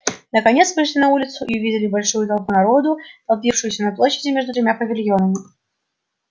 наконец вышли на улицу и увидели большую толпу народу толпившуюся на площади между тремя павильонами